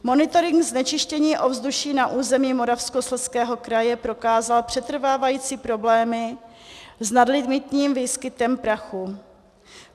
Monitoring znečištění ovzduší na území Moravskoslezského kraje prokázal přetrvávající problémy s nadlimitním výskytem prachu.